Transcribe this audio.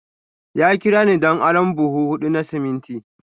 Ya kira ni don arron buhu hudu na siminti.